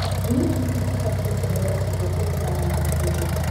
Njui ici cibatie kuheo irio kũringana na ũkũrũ.